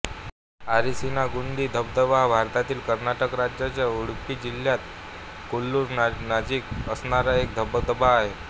अरिसीना गुंडी धबधबा हा भारतातील कर्नाटक राज्याच्या उडुपी जिल्ह्यात कोल्लुर नजिक असणारा एक धबधबा आहे